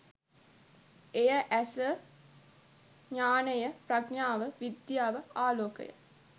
එය ඇස, ඤාණය, ප්‍රඥාව, විද්‍යාව, ආලෝකය